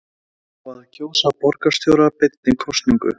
Á að kjósa borgarstjóra beinni kosningu?